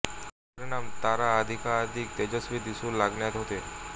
याचा परिणाम तारा अधिकाधिक तेजस्वी दिसू लागण्यात होतो